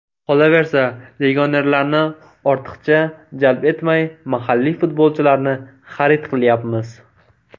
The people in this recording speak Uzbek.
Qolaversa, legionerlarni ortiqcha jalb etmay mahalliy futbolchilarni xarid qilyapmiz.